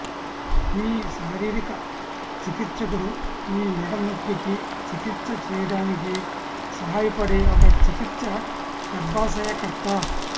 మీ శారీరక చికిత్సకుడు మీ మెడ నొప్పికి చికిత్స చేయటానికి సహాయపడే ఒక చికిత్స గర్భాశయ కర్త